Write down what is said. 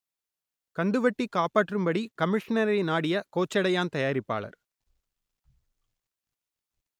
கந்துவட்டி காப்பாற்றும்படி கமிஷ்னரை நாடிய கோச்சடையான் தயாரிப்பாளர்